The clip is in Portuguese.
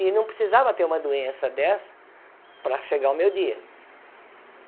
E não precisava ter uma doença dessa para chegar o meu dia.